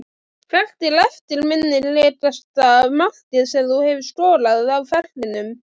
Hvert er eftirminnilegasta markið sem þú hefur skorað á ferlinum?